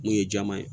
Mun ye jɛman ye